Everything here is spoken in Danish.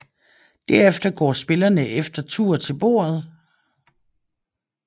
Derefter går spillerne efter tur til bordet